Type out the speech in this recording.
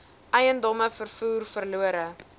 eiendomme vervoer verlore